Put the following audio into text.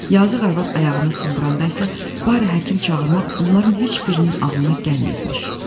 Yazıq arvad ayağını sındıranda isə bari həkim çağırmaq onların heç birinin ağlına gəlməyibmiş.